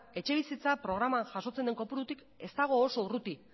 etxebizitza programan jasotzen du kopurutik ez dago oso urrutik